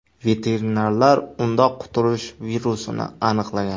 Veterinarlar unda quturish virusini aniqlagan.